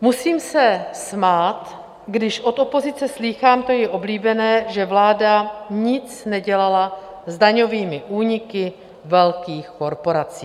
Musím se smát, když od opozice slýchám to její oblíbené, že vláda nic nedělala s daňovými úniky velkých korporací.